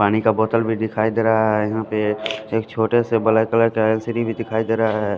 पानी का बोतल भी दिखाई दे रहा है यहाँ पे एक छोटे से ब्लैक कलर का एल_सी_डी भी दिखाई दे रहा है।